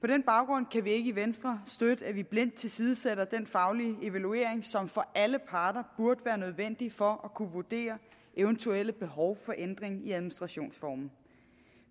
på den baggrund kan vi ikke i venstre støtte at vi blindt tilsidesætter den faglige evaluering som for alle parter burde være nødvendig for at kunne vurdere eventuelle behov for ændringer i administrationsformen